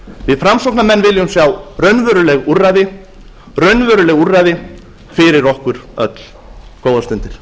við framsóknarmenn viljum sjá raunveruleg úrræði raunveruleg úrræði fyrir okkur öll góðar stundir